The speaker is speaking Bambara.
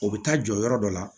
O bɛ taa jɔ yɔrɔ dɔ la